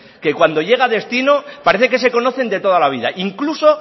que cuando llega a destino parece que se conocen de toda la vida incluso